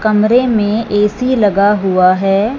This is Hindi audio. कमरे में ए_सी लगा हुआ है।